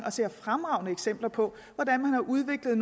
fremragende eksempler på hvordan man har udviklet